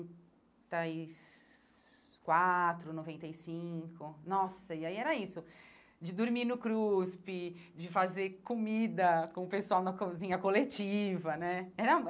Das quatro, noventa e cinco... Nossa, e aí era isso, de dormir no CRUSP, de fazer comida com o pessoal na cozinha coletiva, né? Era